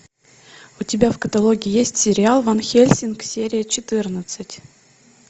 у тебя в каталоге есть сериал ван хельсинг серия четырнадцать